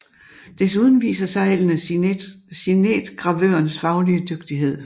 Desuden viser seglene signetgravørens faglige dygtighed